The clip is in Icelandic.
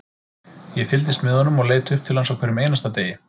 Ég fylgdist með honum og leit upp til hans á hverjum einasta degi,